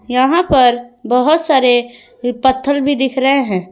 यहां पर बहोत सारे पत्थर भी दिख रहे हैं।